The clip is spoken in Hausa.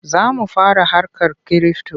Za mu fara harkar kirifto.